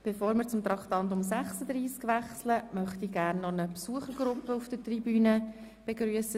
Bevor wir zu Traktandum 36 wechseln, möchte ich eine Besuchergruppe, die auf der Tribüne Platz genommen hat, begrüssen.